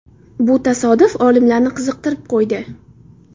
Bu tasodif olimlarni qiziqtirib qo‘ydi.